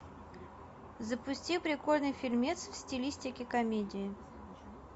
запусти прикольный фильмец в стилистике комедии